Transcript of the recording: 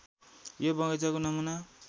यो बगैंचाको नमूना